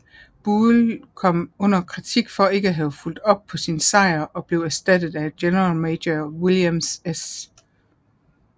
Buell kom under kritik for ikke at have fulgt op på sin sejr og blev erstattet af generalmajor William S